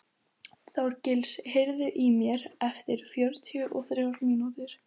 Þorgísl, heyrðu í mér eftir fjörutíu og þrjár mínútur.